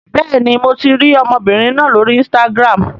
Bẹ́ẹ̀ni, mo ti rí ọmọbìnrin náà lórí Instagram.